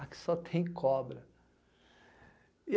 Aqui só tem cobra.